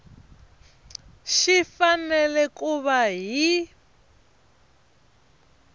xi fanele ku va hi